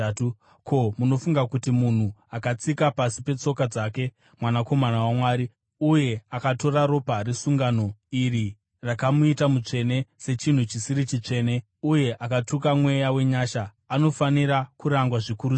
Ko, munofunga kuti munhu, akatsika pasi petsoka dzake Mwanakomana waMwari uye akatora ropa resungano iri rakamuita mutsvene sechinhu chisiri chitsvene uye akatuka Mweya wenyasha, anofanira kurangwa zvikuru sei?